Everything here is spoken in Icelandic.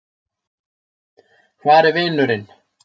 Hvar er vinurinn?